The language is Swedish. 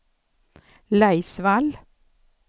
Laisvall